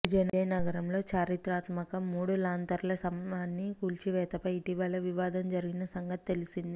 విజయనగరంలో చారిత్రాత్మక మూడు లాంతర్ల స్తంభాన్ని కూల్చివేతపై ఇటీవల వివాదం జరిగిన సంగతి తెలిసింది